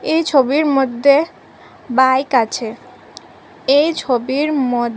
এই ছবির মধ্যে বাইক আছে এই ছবির মধ--